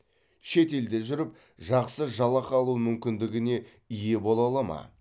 шет елде жүріп жақсы жалақы алу мүмкіндігіне ие бола алады ма